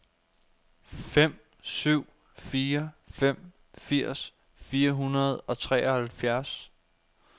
fem syv fire fem firs fire hundrede og treoghalvfjerds